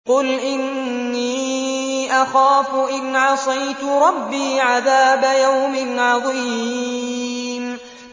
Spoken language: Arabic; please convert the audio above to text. قُلْ إِنِّي أَخَافُ إِنْ عَصَيْتُ رَبِّي عَذَابَ يَوْمٍ عَظِيمٍ